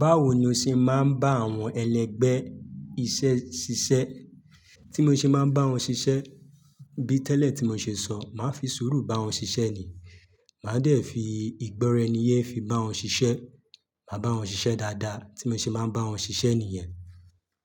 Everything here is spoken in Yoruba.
Báwo ni o ṣe máa ń bá àwọn ẹlẹgbẹ́ iṣẹ́ ṣiṣẹ́? Tí mo ṣe máa bá wọn ṣiṣẹ́, bí tẹ́lẹ̀ tí mo ṣe sọ, màá fi sùúrù bá wọn ṣiṣẹ́ ni. Màá dẹ̀ fi ìgbọ́raẹniyé fi bá wọn ṣiṣẹ́. Màá bá wọn ṣiṣẹ́ dáadáa, tí mo ṣe máa n bá wọn ṣiṣẹ́ nìyẹn,